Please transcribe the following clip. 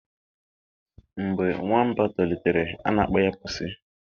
Mgbe nwamba tolitere, a na-akpọ ya pusi